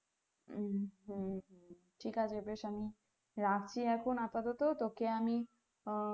হুম হুম হুম ঠিক আছে বেশ আমি রাখছি এখন আপাতত তোকে আমি আঃ